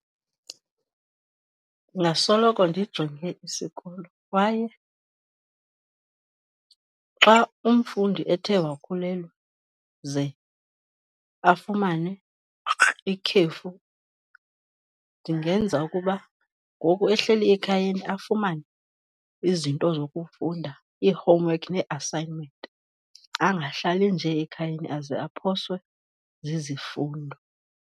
Ndingasoloko ndijonge isikolo kwaye xa umfundi ethe wakhulelwa ze afumane ikhefu ndingenza ukuba ngoku ehleli ekhayeni afumane izinto zokufunda, ii-homework nee-assignment, angahlali nje ekhayeni aze aphoswe zizifundo.